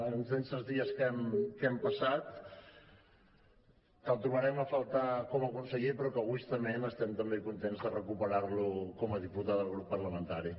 intensos dies que hem passat que el trobarem a faltar com a conseller però que egoistament estem també contents de recuperar lo com a diputat del grup parlamentari